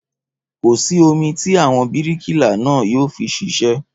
Kò sí omi tí àwọn bíríkìlà náà yóò fi ṣiṣẹ́